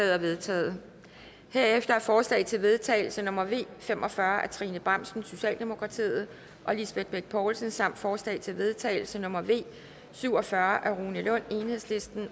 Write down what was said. er vedtaget herefter er forslag til vedtagelse nummer v fem og fyrre af trine bramsen og lisbeth bech poulsen samt forslag til vedtagelse nummer v syv og fyrre af rune lund